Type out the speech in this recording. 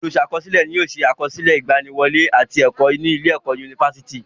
Olùsàkọsílẹ̀ ni yóò se àkọọlẹ ìgbaniwọlé àti ẹ̀kọ́ ní ilé ẹ̀kọ́ yunifásítì.